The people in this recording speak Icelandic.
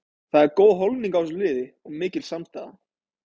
Það er góð holning á þessu liði og mikil samstaða.